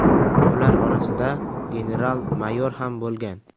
Ular orasida general-mayor ham bo‘lgan.